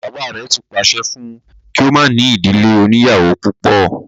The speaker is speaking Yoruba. Bàbá rẹ̀ ti pàṣẹ fún un kí ó má ní ìdílé oníyàwó púpọ̀